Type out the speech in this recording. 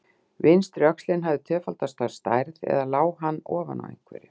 Vinstri öxlin hafði tvöfaldast að stærð, eða lá hann ofan á einhverju?